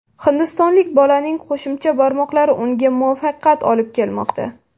Hindistonlik bolaning qo‘shimcha barmoqlari unga muvaffaqiyat olib kelmoqda.